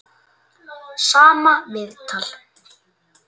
Sama viðtal.